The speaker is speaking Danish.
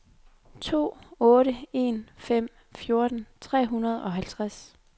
to otte en fem fjorten tre hundrede og halvtreds